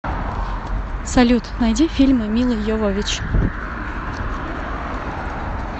салют найди фильмы миллы йовович